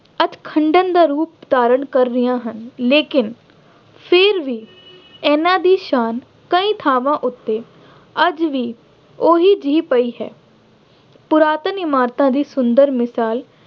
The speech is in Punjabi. ਅੱਜ ਖੰਡਰ ਦਾ ਰੂਪ ਧਾਰਨ ਕਰ ਗਈਆਂ ਹਨ। ਲੇਕਿਨ ਫੇਰ ਵੀ ਇਹਨਾ ਦੀ ਸ਼ਾਨ ਕਈ ਥਾਵਾਂ ਉੱਤੇ ਅੱਜ ਵੀ ਉਹੀ ਜਿਹੀ ਪਈ ਹੈ। ਪੁਰਾਤਨ ਇਮਾਰਤਾਂ ਦੀ ਸੁੰਦਰ ਮਿਸਾਲ